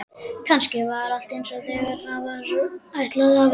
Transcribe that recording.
Kannski var allt einsog því var ætlað að vera.